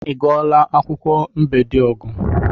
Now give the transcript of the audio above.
I gụọla akwụkwọ Mbediogu'?